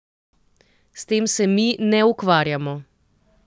S tem se mi ne ukvarjamo.